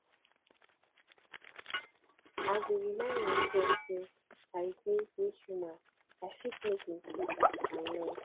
i go remind myself say i dey dey human i fit make mistakes and learn